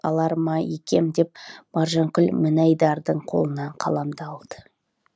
алар ма екем деп маржанкүл мінайдардың қолынан қаламды алды